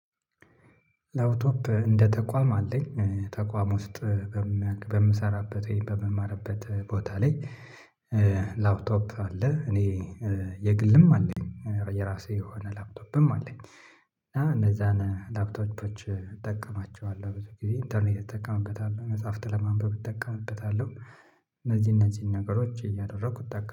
ላፕትፑ እንደ ተቋም አለኝ ተቋም ውስጥ በምሰራበት በምማርበት ቦታ ላይ። ላፕቶፕ አለ እኔ የግልም አለኝ የራሴ የሆነ ላፕቶፕም አለኝ። እነዛን ላፕቶፕሽ እጠቀማቸዋለሁ ብዙ ጊዜ ኢንተርኔት እጠቀምበታለሁ መጽሐፍትን ለማንበብ እጠቀምበታለሁ። እነዚህ እነዚህን ነገሮች እያደረኩት